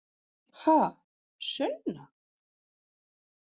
Ha, Sunna?